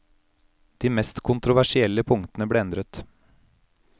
De mest kontroversielle punktene ble endret.